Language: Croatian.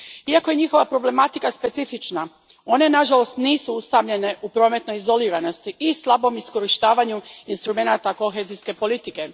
Iako je njihova problematika specifična, one nažalost nisu usamljene u prometnoj izoliranosti i slabom iskorištavanju instrumenata kohezijske politike.